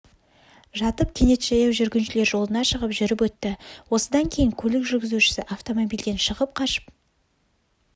жатып кенет жаяу жүргіншілер жолына шығып жүріп өтті осыдан кейін көлік жүргізушісі автомобильден шығып қашып